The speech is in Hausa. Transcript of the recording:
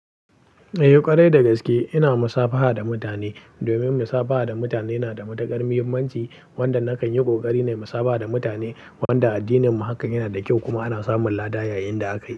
Eh ƙwarai da gaske ina musafaha da mutane domin musafaha da mutane na da matuƙar muhimmanci wanda nakan yi koƙari na musafaha da mutane wanda addininmu haka yana da kyau kuma ana samun lada yayin da aka yi.